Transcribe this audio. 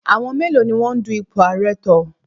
Àwọn mélòó ni wọ́n dun ipò ààrẹ tọ̀?